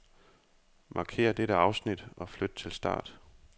Markér dette afsnit og flyt til start.